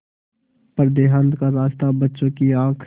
पर देहात का रास्ता बच्चों की आँख